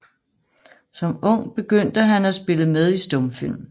Som ung begyndte han at spille med i stumfilm